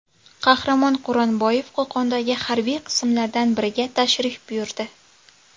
Qahramon Quronboyev Qo‘qondagi harbiy qismlardan biriga tashrif buyurdi .